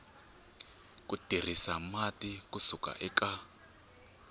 tirhisa mati ku suka eka